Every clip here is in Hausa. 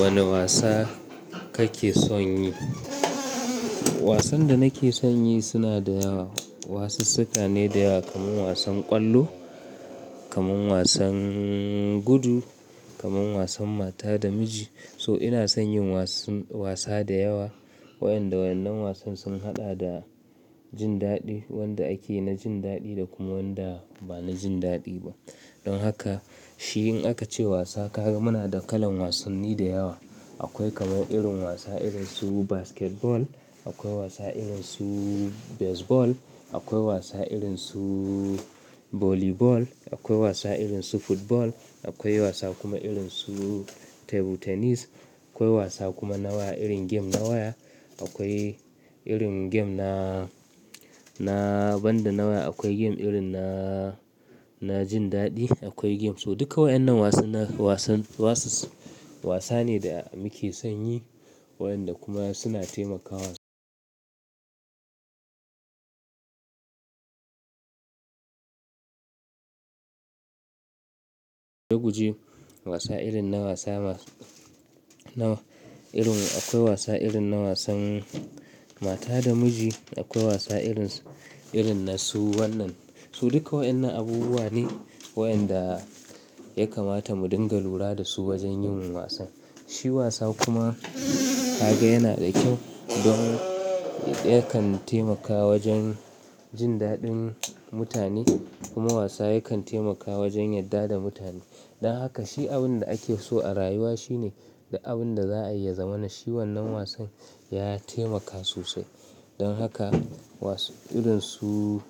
Wane wasa kake son yi? Wasan da nake son yi suna da wasu siffa ne da yawa, kamar wasan ƙwallo, kamar wasan gudu, kamar wasan mata da miji. So ina son yin wasan wasa da yawa. Wayanda wannan wasan sun haɗa da jin daɗi, wanda ake na jin daɗi da kuma wanda ba na jin daɗi ba. Don haka shi in aka ce wasa, kaga muna da kalan wasanni da yawa. Akwai kamar irin wasa irin su basketball, akwai wasa irin su baseball, akwai wasa irin su volleyball, akwai wasa irin su football, akwai wasa kuma irin su table tennis, akwai wasa kuma nawa irin game na waya. Akwai irin game na, na banda na waya, akwai game irin na, na jin daɗi, akwai game, so duka waɗannan wasann, wasan, wasu wasa ne da muke son yi waɗanda kuma suna taimakawa. Daguje wasa irin na wasa ma, nawa irin akwai wasa irin na wasan mata da miji, akwai wasa irin, irin na su wannan. Su duka waɗannan abubuwa ne waɗanda ya kamata mu dinga lura da su wajen yin wasan. Shi wasa kuma kaga yana da kyau don yakan taimakawa wajen jin daɗin mutane kuma wasa yakan taimakawa wajen yadda da mutane. Don haka shi abin da ake so a rayuwa shine da abin da za a iya zama na shi wannan wasan ya taimaka sosai. Don haka wasan irin su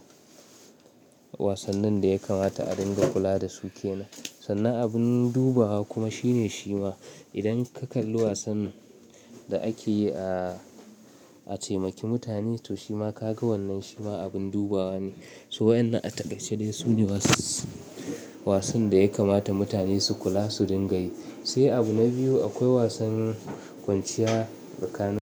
wasannin da ya kamata a dinga kula da su ke nan. Sannan abin dubawa kuma shine shi ma idan ka kalli wasan da ake yi a, a taimaki mutane to shi ma kaga wannan shi ma abin dubawa ne. So waɗannan a taƙaice dai su ne wass, wasan da ya kamata mutane su kula, su dinga yi. Sai abu na biyu akwai wasannin kwanciya tsakanin.